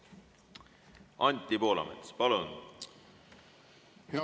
Anti Poolamets, palun!